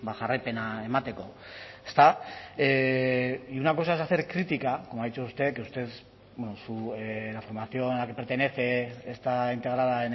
jarraipena emateko ezta y una cosa es hacer crítica como ha dicho usted que usted bueno la formación a la que pertenece está integrada